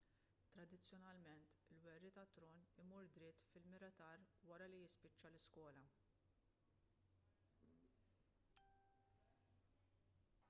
tradizzjonalment il-werriet għat-tron imur dritt fil-militar wara li jispiċċa l-iskola